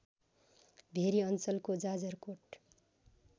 very अञ्चलको जाजरकोट